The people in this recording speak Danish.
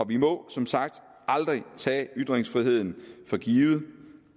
vi må som sagt aldrig tage ytringsfriheden for givet